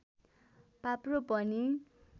पाप्रो पनि